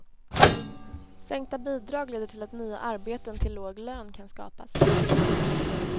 Sänkta bidrag leder till att nya arbeten till låg lön kan skapas.